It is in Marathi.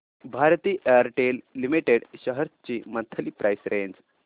भारती एअरटेल लिमिटेड शेअर्स ची मंथली प्राइस रेंज